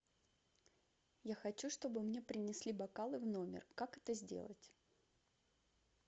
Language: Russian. я хочу чтобы мне принесли бокалы в номер как это сделать